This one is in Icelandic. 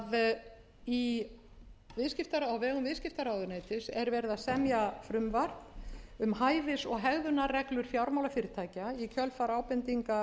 vegum viðskiptaráðuneytis er verið að semja frumvarp um hæfis og hegðunarreglur fjármálafyrirtækja í kjölfar ábendinga